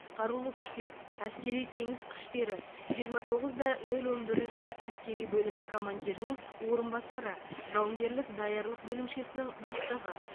қарулы күштер әскери теңіз күштері жиырма тоғыз да нөл он бірінші әскери бөлімі командирінің орынбасары жауынгерлік даярлық бөлімшесінің бастығы